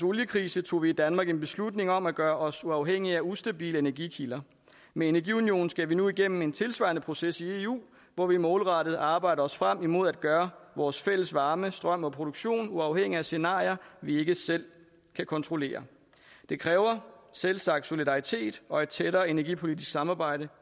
oliekrise tog vi i danmark en beslutning om at gøre os uafhængige af ustabile energikilder med energiunionen skal vi nu igennem en tilsvarende proces i eu hvor vi målrettet arbejder os frem imod at gøre vores fælles varme strøm og produktion uafhængigt af scenarier vi ikke selv kan kontrollere det kræver selvsagt solidaritet og et tættere energipolitisk samarbejde